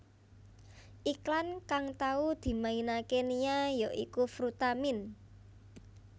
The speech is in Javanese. Iklan kang tau dimainaké Nia ya iku Frutamin